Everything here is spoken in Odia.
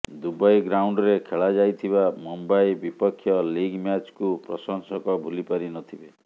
ଦୁବାଇ ଗ୍ରାଉଣ୍ଡରେ ଖେଳାଯାଇଥିବା ମୁମ୍ବାଇ ବିପକ୍ଷ ଲିଗ୍ ମ୍ୟାଚ୍କୁ ପ୍ରଶଂସକ ଭୁଲି ପାରିନଥିବେ